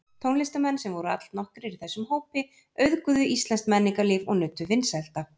Tónlistarmenn, sem voru allnokkrir í þessum hópi, auðguðu íslenskt menningarlíf og nutu vinsælda.